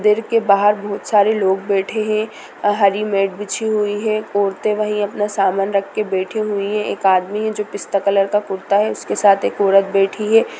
देर के बाहर बहुत सारे लोग बैठे हैं अ हरी मैट बिछी हुई है औरतें वहीं अपना सामान रख के बैठी हुई हैं एक आदमी है जो पिस्ता कलर का कुर्ता है उसके साथ एक औरत बैठी है।